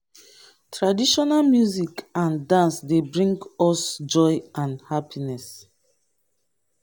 music and dance be di honey wey dey significance in our culture.